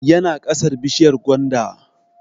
Yana ƙasar bishiyar gwanda